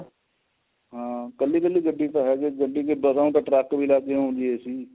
ਹਾਂ ਕੱਲੀ ਕੱਲੀ ਗੱਡੀ ਚ ਹੈਗਾ ਜੇ ਗੱਡੀ ਚੋ ਤਾਂ truck ਚ ਵੀ ਲਗ ਜਾਣਗੇ AC